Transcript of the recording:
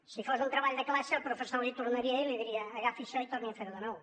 si fos un treball de classe el professor l’hi tornaria i li diria agafi això i torni a fer ho de nou